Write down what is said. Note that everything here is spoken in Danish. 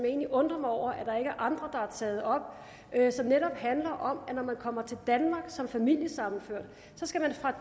egentlig undrer mig over at er andre der har taget op som netop handler om at når man kommer til danmark som familiesammenført skal man fra